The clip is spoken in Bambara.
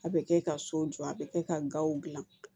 A bɛ kɛ ka so jɔ a bɛ kɛ ka gaw dilan